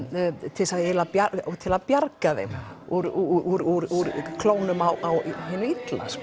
til þess eiginlega að bjarga þeim úr klónum á hinu illa